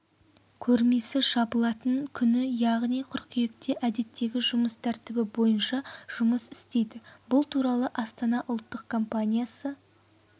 көрмесі жабылатын күні яғни қыркүйекте әдеттегі жұмыс тәртібі бойынша жұмыс істейді бұл туралы астана ұлттық компаниясы